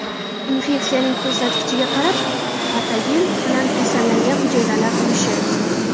Infeksiyaning ko‘rsatkichiga qarab patogen bilan kasallangan hujayralar ulushi.